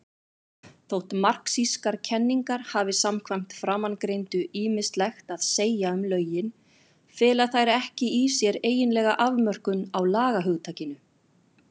Þótt marxískar kenningar hafi samkvæmt framangreindu ýmislegt að segja um lögin, fela þær ekki í sér eiginlega afmörkun á lagahugtakinu.